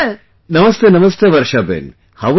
NamasteNamaste Varshaben | how are you